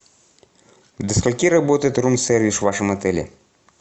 до скольки работает рум сервис в вашем отеле